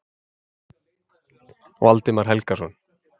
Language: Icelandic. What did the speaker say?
Valdimar Helgason.